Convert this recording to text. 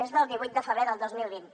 és del divuit de febrer del dos mil vint